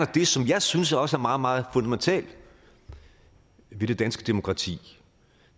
det som jeg synes også er meget meget fundamentalt ved det danske demokrati og